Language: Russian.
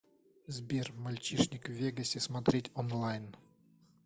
сбер мальчишник в вегасе смотреть онлайн